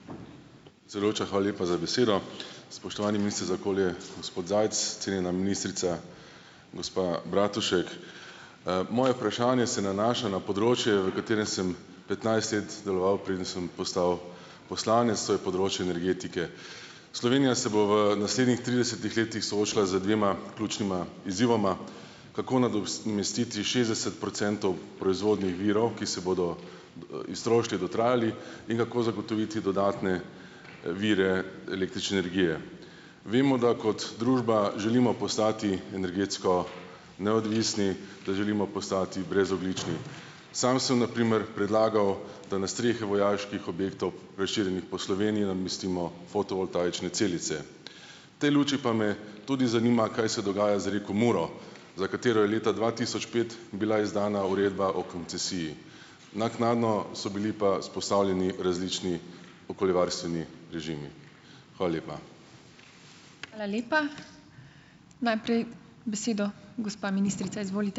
Predsedujoča, hvala lepa za besedo. Spoštovani minister za okolje gospod Zajc, cenjena ministrica gospa Bratušek! Moje vprašanje se nanaša na področje, v katerem sem petnajst let deloval, preden sem postal poslanec, to je področje energetike. Slovenija se bo v naslednjih tridesetih letih soočila z dvema ključnima izzivoma, kako nadomestiti šestdeset procentov proizvodnje virov, ki se bodo iztrošili, dotrajali, in kako zagotoviti dodatne vire električne energije. Vemo, da kot družba želimo postati energetsko neodvisni, da želimo postati brezogljični. Sam sem na primer predlagal, da na strehe vojaških objektov, razširjenih po Sloveniji, namestimo fotovoltaične celice. V tej luči pa me tudi zanima, kaj se dogaja z reko Muro, za katero je leta dva tisoč pet bila izdana uredba o koncesiji. Naknadno so bili pa vzpostavljeni različni okoljevarstveni režimi. Hvala lepa.